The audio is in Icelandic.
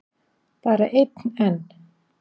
Bara einn enn?